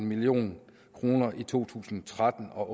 million kroner og i to tusind og tretten og